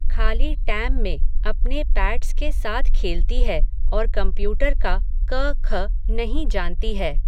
खाली टैम में अपने पैट्स के साथ खेलती है, और कंम्प्यूटर का, क ख नहीं जानती है